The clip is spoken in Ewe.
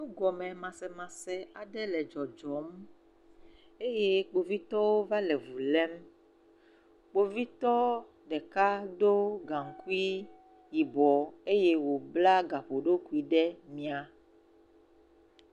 Nugɔmemasemase aɖe le dzɔdzɔm eye Kpovitɔwo va le vu lém. Kpovitɔ ɖeka do gaŋkui yibɔɔ eye wòbla gaƒoɖokui ɖe miãa.